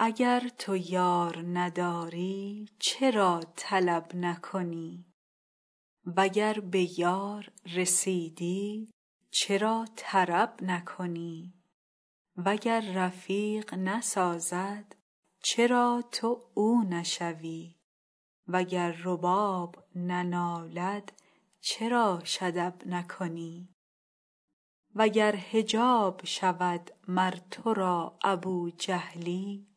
اگر تو یار نداری چرا طلب نکنی وگر به یار رسیدی چرا طرب نکنی وگر رفیق نسازد چرا تو او نشوی وگر رباب ننالد چراش ادب نکنی وگر حجاب شود مر تو را ابوجهلی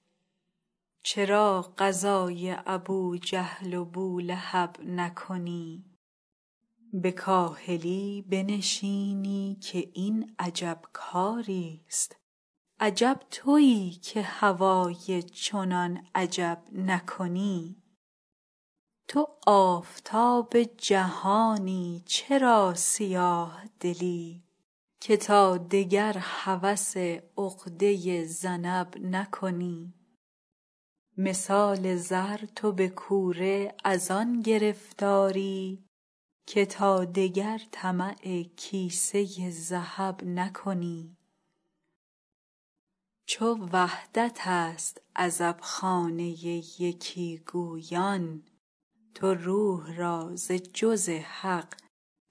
چرا غزای ابوجهل و بولهب نکنی به کاهلی بنشینی که این عجب کاریست عجب توی که هوای چنان عجب نکنی تو آفتاب جهانی چرا سیاه دلی که تا دگر هوس عقده ذنب نکنی مثال زر تو به کوره از آن گرفتاری که تا دگر طمع کیسه ذهب نکنی چو وحدتست عزبخانه یکی گویان تو روح را ز جز حق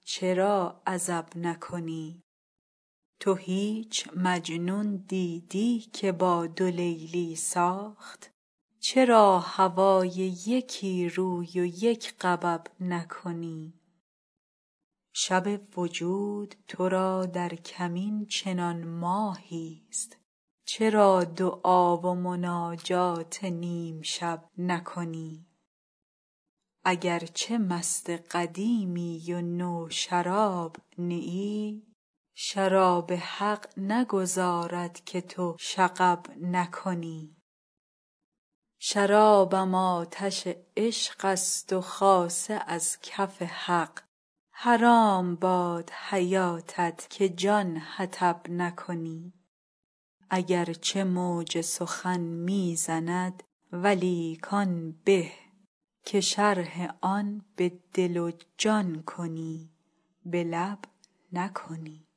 چرا عزب نکنی تو هیچ مجنون دیدی که با دو لیلی ساخت چرا هوای یکی روی و یک غبب نکنی شب وجود تو را در کمین چنان ماهیست چرا دعا و مناجات نیم شب نکنی اگر چه مست قدیمی و نوشراب نه ای شراب حق نگذارد که تو شغب نکنی شرابم آتش عشقست و خاصه از کف حق حرام باد حیاتت که جان حطب نکنی اگر چه موج سخن می زند ولیک آن به که شرح آن به دل و جان کنی به لب نکنی